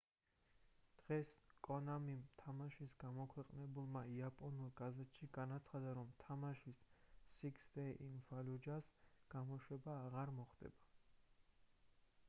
დღეს კონამიმ თამაშის გამომქვეყნებელმა იაპონურ გაზეთში განაცხადა რომ თამაშის six days in fallujah-ს გამოშვება აღარ მოხდებოდა